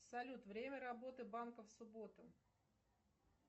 салют время работы банка в субботу